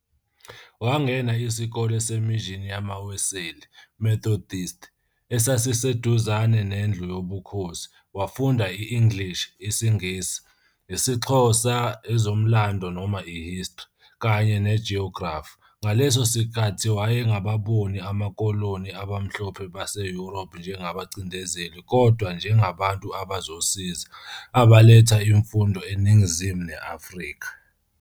Wangena isikole se-mission yamaWeseli, Methodist, esasiseduzane nendlu yobukhosi, wafunda i-English isiNgisi, isiXhosa, ezomlando noma i-history, kanye nejoyigrafi. Ngaleso sikhathi wayengababoni amakoloni abamhlophe baseYuropha njengabacindezeli kodwa njengabantu abazosiza, abaletha imfundo eningizimu ne-Afrika.